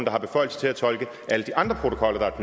har beføjelse til at tolke alle de andre protokoller